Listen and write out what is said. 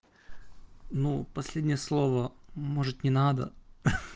ну последнее слово может не надо